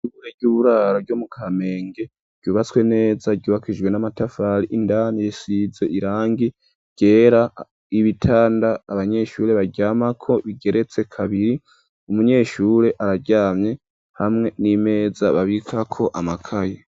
Ishure ry'uburaro ryo mu kamenge ryubatswe neza ryubakishijwe n'amatafari indani risize irangi ryera ibitanda abanyeshure baryamako bigeretse kabiri umunyeshure araryamye hamwe n'imeza babikako amakaye.